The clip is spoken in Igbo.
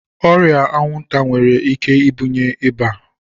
Ọrịa anwụnta nwere ike ibunye ịba.